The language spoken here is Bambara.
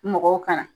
Mɔgɔw ka na